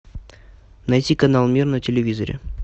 найти канал мир на телевизоре